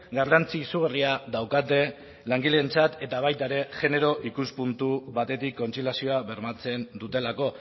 garrantzi izugarria daukate langileentzat eta baita ere genero ikuspuntu batetik kontziliazioa bermatzen dutelako